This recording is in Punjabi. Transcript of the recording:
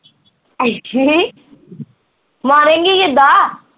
ਮਾਰੇਗੀ ਕਿੱਦਾਂ